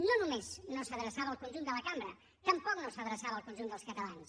no només no s’adreçava al conjunt de la cambra tampoc no s’adreçava al conjunt dels catalans